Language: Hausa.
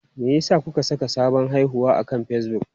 Me yasa kuka saka sabon haihuwa akan Facebook?